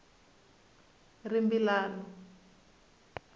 rimbilano